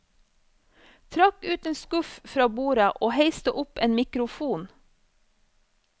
Trakk ut en skuff fra bordet og heiste opp en mikrofon.